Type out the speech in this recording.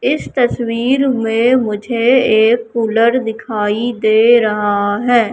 इस तस्वीर में मुझे एक कूलर दिखाई दे रहा है।